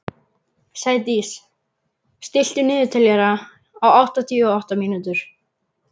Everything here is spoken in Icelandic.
Sædís, stilltu niðurteljara á áttatíu og átta mínútur.